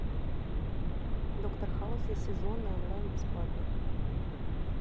доктор хаус все сезоны онлайн бесплатно